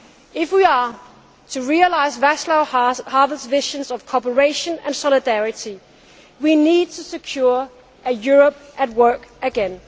together. If we are to realise Václav Havel's vision of cooperation and solidarity, we need to secure a Europe at